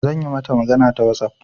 Zan yi mata magana ta WhatsApp.